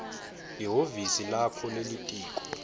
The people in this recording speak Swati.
lihhovisi lakho lelitiko